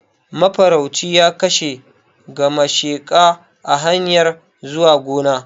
Mafarauci ya kashe gamasheka a hanyar zuwa gona